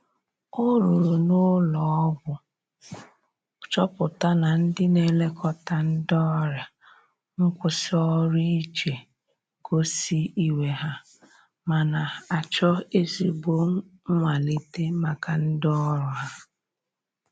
O ruru na ụlọ ogwọ chọpụta na ndi n'elekota ndi ọrìa nkwụsi ọrụ ije gosi iwe ha, mana acho ezigbo nwalita maka ndi ọrụ ha